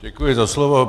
Děkuji za slovo.